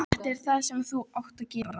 Sigvarður, hvar er dótið mitt?